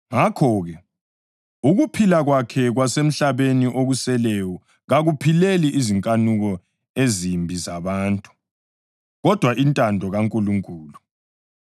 Ngakho-ke, ukuphila kwakhe kwasemhlabeni okuseleyo kakuphileli izinkanuko ezimbi zabantu, kodwa intando kaNkulunkulu.